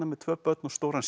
með tvö börn og stóran